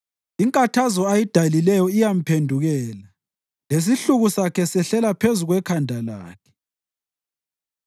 Inkathazo ayidalileyo iyamphendukela; lesihluku sakhe sehlela phezu kwekhanda lakhe.